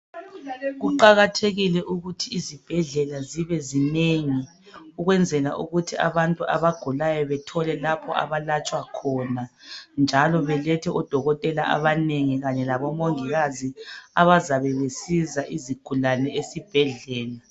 Kuqakathekile ukuthi izibhedlela zibenengi ukuze abantu abagulayo bethole lapha obalatshwa khona njalo belethe odokotela abanengi labomongikazi abanengi abazabe besiza izigulane esibhedlela